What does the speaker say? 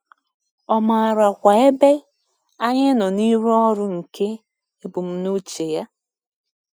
Ọ maarakwa ebe anyị nọ n’ịrụ ọrụ nke ebumnuche ya.